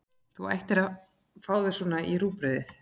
Þú ættir að fá þér svona í rúgbrauðið!